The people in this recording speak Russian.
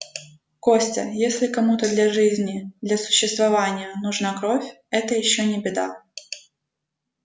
костя если кому-то для жизни для существования нужна кровь это ещё не беда